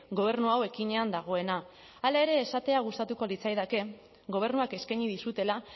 gobernu hau ekinean dagoena hala ere esatea gustatuko litzaidake gobernuak eskaini dizutela